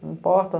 Não importa.